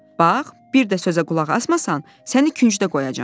Bax, bir də sözə qulaq asmasan, səni küncdə qoyacağam.